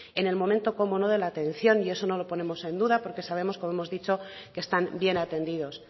en el momento cómo no de la atención y eso no lo ponemos en duda porque sabemos como hemos dicho que están bien atendidos